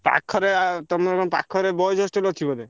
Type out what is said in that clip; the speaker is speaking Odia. ପାଖରେ ଆ ତମର କଣ ପାଖରେ boys hostel ଅଛି ବୋଧେ?